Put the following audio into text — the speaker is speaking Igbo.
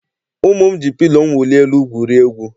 Ụmụ m ji pilo mwuli elu gwurie egwu.